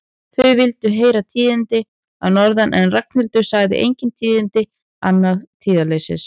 Þau vildu heyra tíðindi að norðan en Ragnhildur sagði engin tíðindi, aðeins tíðindaleysi.